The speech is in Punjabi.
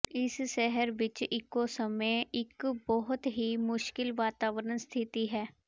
ਇਸ ਸ਼ਹਿਰ ਵਿੱਚ ਇੱਕੋ ਸਮੇਂ ਇੱਕ ਬਹੁਤ ਹੀ ਮੁਸ਼ਕਿਲ ਵਾਤਾਵਰਣ ਸਥਿਤੀ ਹੈ